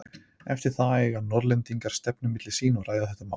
Eftir það eigu Norðlendingar stefnu milli sín og ræða þetta mál.